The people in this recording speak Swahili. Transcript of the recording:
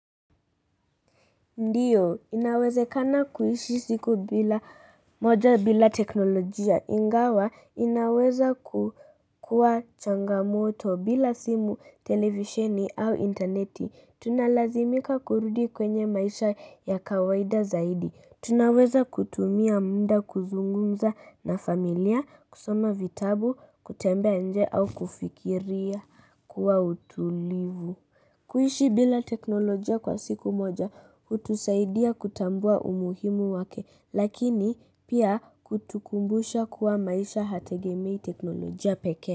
Ndiyo, inawezekana kuishi siku bila moja bila teknolojia, ingawa, inaweza kukuwa changamoto bila simu, televisheni au intaneti, tunalazimika kurudi kwenye maisha ya kawaida zaidi, tunaweza kutumia mda kuzungumza na familia, kusoma vitabu, kutembea nje au kufikiria kuwa utulivu kuishi bila teknolojia kwa siku moja, hutusaidia kutambua umuhimu wake, lakini pia kutukumbusha kuwa maisha hategemeii teknolojia pekee.